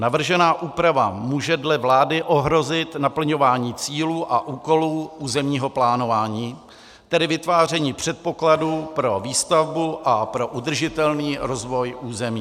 Navržená úprava může dle vlády ohrozit naplňování cílů a úkolů územního plánování, tedy vytváření předpokladů pro výstavbu a pro udržitelný rozvoj území.